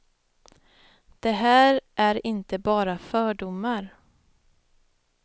Det här är inte bara fördomar.